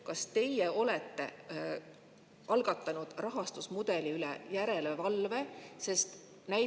Kas teie olete algatanud rahastusmudeli üle järelevalve?